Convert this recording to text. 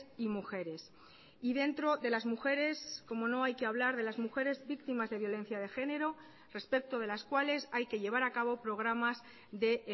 y mujeres y dentro de las mujeres cómo no hay que hablar de las mujeres víctimas de violencia de género respecto de las cuales hay que llevar a cabo programas de